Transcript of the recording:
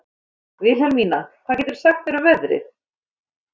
Vilhelmína, hvað geturðu sagt mér um veðrið?